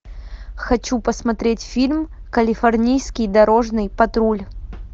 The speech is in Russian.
хочу посмотреть фильм калифорнийский дорожный патруль